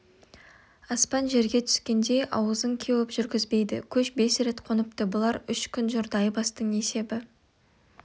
аспан жерге түскендей ауызың кеуіп жүргізбейді көш бес рет қоныпты бұлар үш күн жүрді айбастың есебі